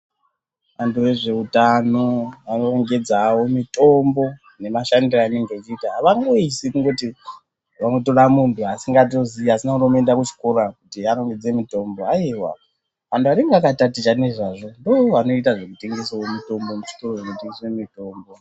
Antu ezveutano orongedzawo mutombo nemashandiro anenge echiita avangoisi kungoti vangotora mombe asingatoziii asina kutomboenda kuchikora kuti arongedze mitombo aiwa antu anenga akatatichangezvazvo ndovanoita zvekutengesawo mitombo muzvitoro zvinotengeswe mitombo.